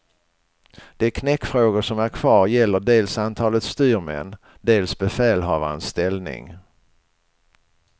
De knäckfrågor som är kvar gäller dels antalet styrmän, dels befälhavarens ställning.